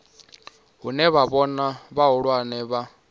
hune wa vhona vhahulwane vha